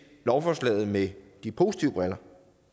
lovforslaget med de positive briller